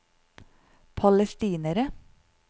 palestinere